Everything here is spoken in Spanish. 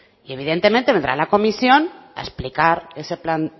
y evidentemente vendrá la comisión a explicar ese plan